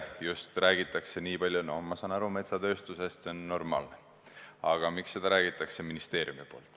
Miks räägitakse sellest metsatööstuses, ma saan aru, see on normaalne, aga miks räägitakse sellest ministeeriumis?